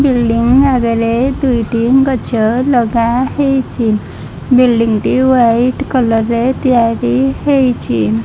Building ଆଗରେ ଦୁଇଟି ଗଛ ଲଗାହେଇଛି ବିଲ୍ଡିଙ୍ଗ୍ ଟି ହ୍ୱାଇଟ୍ କଲର୍ ରେ ତିଆରି ହେଇଛି।